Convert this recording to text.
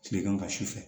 Tilegan ka sufɛ